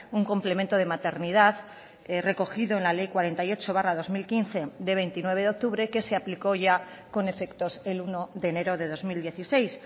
un complemento de maternidad recogido en la ley cuarenta y ocho barra dos mil quince de veintinueve de octubre que se aplicó ya con efectos el uno de enero de dos mil dieciséis